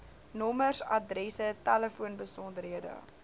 nommers adresse telefoonbesonderhede